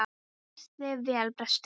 Þú stendur þig vel, Brestir!